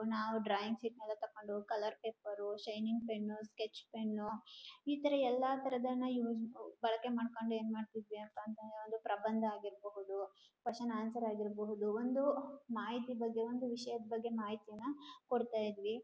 ನಾವು drawing sheet ನ ತಕೊಂಡ್ ಹೋಗಿ colour paper shining pen sketch pen ಇತರ ಎಲ್ಲ ತರದನ ಬಳೆಕೆ ಮಾಡ್ಕೊಂಡ್ ಏನ್ ಮಾಡ್ತಿದ್ವಿ ಅಂತ ಅಂದ್ರೆ ಒಂದು ಪ್ರಭಂದ ಆಗಿರ್ಬಹುದು ಕೆವೆಷನ್ ಆನ್ಸರ್ ಆಗಿರ್ಬಹುದು ಒಂದು ಮಾಹತಿ ಬಗ್ಗೆ ಒಂದು ವಿಷಯದ ಬಗ್ಗೆ ಮಾಹಿತಿಯೇನ ಕೊಡ್ತಾಇದ್ವಿ